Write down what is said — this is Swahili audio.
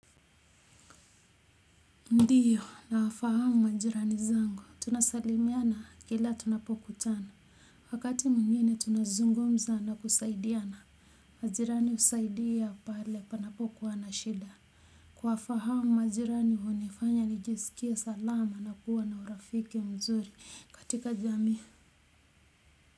Ndio nawafahamu majirani wangu, tunasalimiana kila tunapokutana, wakati mwingine tunazungumza na tunasaidiana majirani husaidia pale panapo kuwa na shida kuwafahamu majirani hunifanya nijisikia salama na kuwa na urafiki mzuri katika jamii.